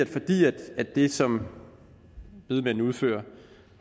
det som bedemændene udfører